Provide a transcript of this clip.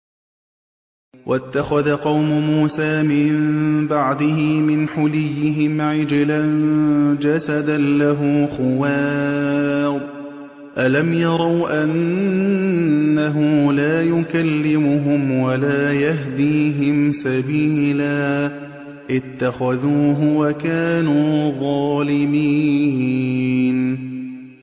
وَاتَّخَذَ قَوْمُ مُوسَىٰ مِن بَعْدِهِ مِنْ حُلِيِّهِمْ عِجْلًا جَسَدًا لَّهُ خُوَارٌ ۚ أَلَمْ يَرَوْا أَنَّهُ لَا يُكَلِّمُهُمْ وَلَا يَهْدِيهِمْ سَبِيلًا ۘ اتَّخَذُوهُ وَكَانُوا ظَالِمِينَ